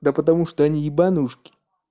да потому что они ебанушки